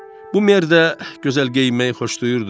Bu Mer də gözəl geyinməyi xoşlayırdı.